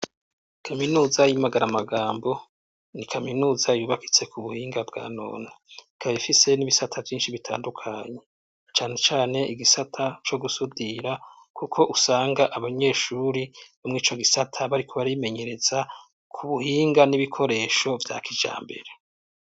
Kaminuza yi Magaramagambo ,ni kaminuza yubakitse ku buhinga bwa nona kabifise n'ibisata vyinshi bitandukanye cane cane igisata co gusudira kuko usanga abanyeshuri bamwe ico gisata bari kubri bimenyereza ku buhinga n'ibikoresho bya kijambere.